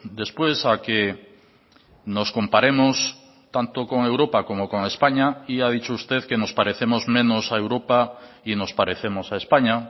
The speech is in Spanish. después a que nos comparemos tanto con europa como con españa y ha dicho usted que nos parecemos menos a europa y nos parecemos a españa